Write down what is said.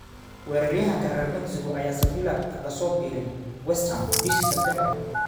Weeraryahanka reer Mexico ayaa Sevilla kaga soo biiray West Ham bishii September.